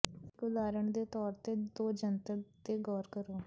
ਇੱਕ ਉਦਾਹਰਣ ਦੇ ਤੌਰ ਤੇ ਦੋ ਜੰਤਰ ਤੇ ਗੌਰ ਕਰੋ